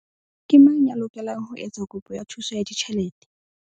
Ke mang ya lokelang ho etsa kopo ya thuso ya ditjhelete?